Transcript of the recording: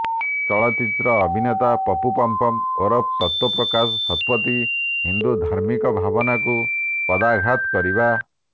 ଚଳଚ୍ଚିତ୍ର ଅଭିନେତା ପପୁ ପମ୍ପମ୍ ଓରଫ ତତ୍ତ୍ୱ ପ୍ରକାଶ ଶତପଥି ହିନ୍ଦୁ ଧାର୍ମିକ ଭାବନାକୁ ପଦାଘାତ କରିବା